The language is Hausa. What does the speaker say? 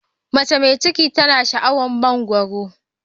Mace mai ciki tana sha'awar mangwaro.